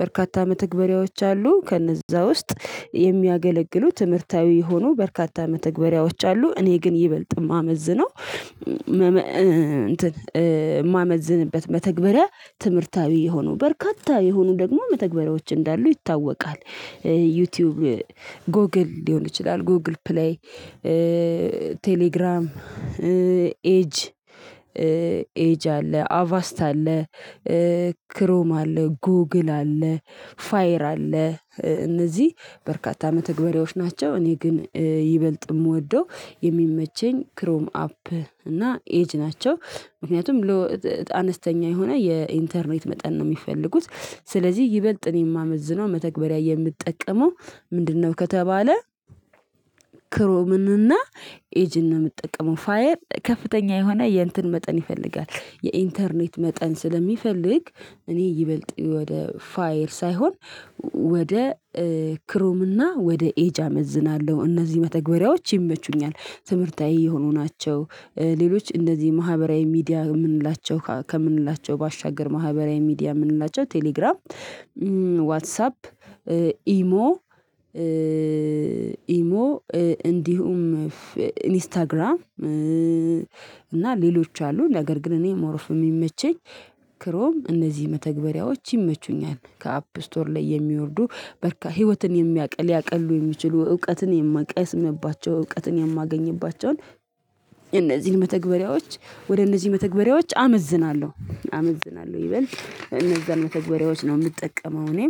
በርካታ መተግበሪያዎች አሉ ከነእዛ ውስጥ የሚያገለግሉ ትምህርታዊ የሆኑ በርካታ መተግበሪያዎች አሉ። እኔ ግን ይበልጥ የማመዝነው እም መመ እንትን እእ የማመዝንበት መተግበሪያ ትምህርታዊ የሆኑ በርካታ የሆኑ ደግሞ መተግበሪያዎች እንዳሉ ይታወቃል። ዩቲዩብ ጎግል ሊሆን ይችላል ጎግል ፕሌይ እእ ቴሌግራም ኤጅ ኤጅ አለ አቫስት አለ። እ ክሮም አለ ጉግል አለ ፋይር አለ እ እነዚህ በርካታ መተግበሪያዎች ናቸው። እኔ ግን እ ይበልጥ ምወደው የሚመቸኝ ክሮም አፕ እና ኤጅ ናቸው። ምክንያቱም ሎ አነስተኛ የሆነ የኢንተርኔት መጠን ነው የሚፈልጉት። ስለዚህ ይበልጥ እኔ የማመዝነው መተግበሪያ የምጠቀመው ምንድን ነው ከተባለ? ክሮምን እና ኤጅን ነው ምጠቀመው። ፋየር ከፍተኛ የሆነ የእንትን መጠን ይፈልጋል የኢንተርኔት መጠን ስለሚፈልግ እኔ ይበልጥ ወደ ፋየር ሳይሆን ው ወደ እ ክሮም እና ወደ ኤጅ አመዝናለሁ። እነዚህ መተግበሪያዎች ይመቹኛል ትምህርታዊ የሆኑ ናቸው። እ ሌሎች እንደዚህ ማህበራዊ ሚዲያ የምንላቸው ከምንላቸው ባሻገር ማህበራዊ ሚዲያ የምንላቸው ቴሌግራም እም ዋትሳፕ ኢሞ እእ ኢሞ እ እንዲሁም ኢንስታግራም እእ እና ሌሎች አሉ። ነገር ግን እኔ ሞር ኦፍ የሚመቸኝ ክሮም እነዚህ መተግበሪያዎች ይመቹኛል። ከአፕ ስቶር ላይ የሚወርዱ በርካ ህይወትን የሚያቅል ሊያቅሉ የሚችሉ እውቀትን የማቀስምባቸው እውቀትን የማገኝባቸውን። እነዚህን መተግበሪያዎች ወደ እነዚህ መተግበሪያዎች አመዝናለሁ አመዝናለሁ ይበልጥ እነዛን መተግበሪያዎች ነው የምጠቀመው እኔም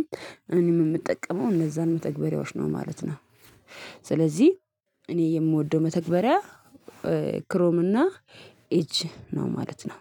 እኔም የምጠቀመው እነዛን መተግበሪያዎች ነው ማለት ነው። ስለዚህ እኔ የምወደው መተግበሪያ እ ክሮም እና ኤጅ ነው ማለት ነው።